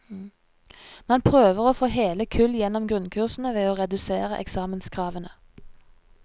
Man prøver å få hele kull gjennom grunnkursene ved å redusere eksamenskravene.